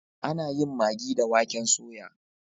Ana yin magi da waken soya.